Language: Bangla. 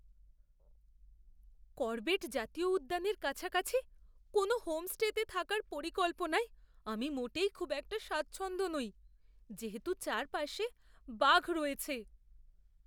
করবেট জাতীয় উদ্যানের কাছাকাছি কোনো হোমস্টেতে থাকার পরিকল্পনায় আমি মোটেই খুব একটা স্বাচ্ছন্দ্য নই যেহেতু চারপাশে বাঘ রয়েছে!